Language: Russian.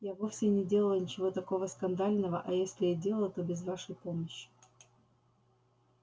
я вовсе не делала ничего такого скандального а если и делала то без вашей помощи